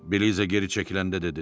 Beliza geri çəkiləndə dedi.